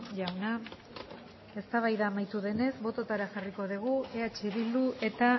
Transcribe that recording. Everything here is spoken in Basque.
jauna eztabaida amaitu denez botoetara jarriko dugu eh bildu eta